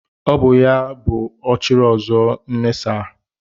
Ọ bụ Ọchịrị Ọzụọ Nnenasaa.